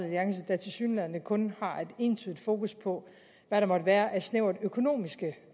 alliance der tilsyneladende kun har et entydigt fokus på hvad der måtte være af snævre økonomiske